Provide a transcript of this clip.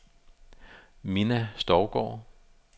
Minna Stougaard